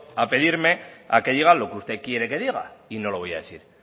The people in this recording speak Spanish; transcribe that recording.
a pedirme a que diga lo que usted quiere que diga y no lo voy a decir